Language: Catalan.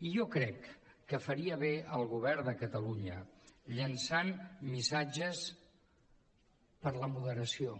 i jo crec que faria bé el govern de catalunya llançant missatges per la moderació